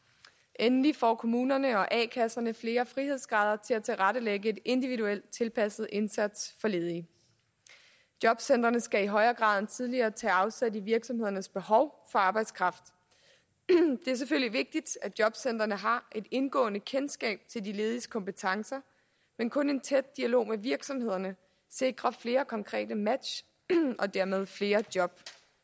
endelig får kommunerne og a kasserne flere frihedsgrader til at tilrettelægge en individuelt tilpasset indsats for ledige jobcentrene skal i højere grad end tidligere tage afsæt i virksomhedernes behov for arbejdskraft det er selvfølgelig vigtigt at jobcentrene har et indgående kendskab til de lediges kompetencer men kun en tæt dialog med virksomhederne sikrer flere konkrete match og dermed flere job